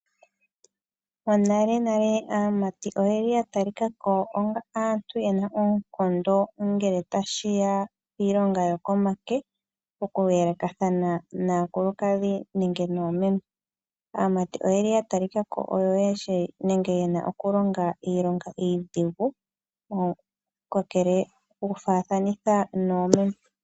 Monale nale aamati oyeli ya talika ko aantu yena oonkondo ongele tashiya piilonga yokomake mokuyelekathana naakulukadhi nenge noomeme. Aamati oyeli ya talikako oyo yena nenge yeshi okulonga iilonga iidhigu okufaathanitha noomeme.